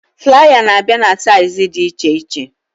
Flaya na abịa na saịz dị iche iche